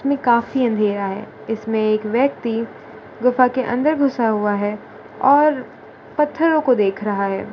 समें काफी अंधेरा है इसमें एक व्यक्ति गुफा के अंदर घुसा हुआ है और पत्थरों को देख रहा है।